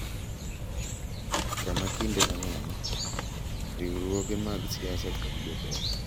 Kama kinde mang’eny, riwruoge mag siasa kod jotelo